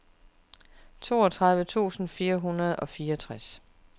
toogtredive tusind fire hundrede og fireogtres